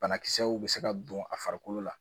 Banakisɛw bɛ se ka don a farikolo la